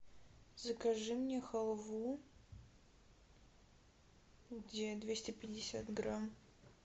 закажи мне халву где двести пятьдесят грамм